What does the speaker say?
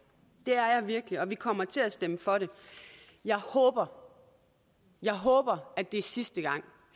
det er jeg virkelig og vi kommer til at stemme for det jeg håber jeg håber at det er sidste gang